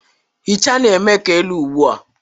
Hichaa na-eme ka elu ugbu a